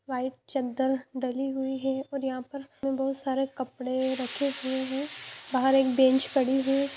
White चद्दर डली हुई है और यहाँ पर बहुत सारे कपड़े रखे हुये है बाहर एक बेंच पड़ी है ।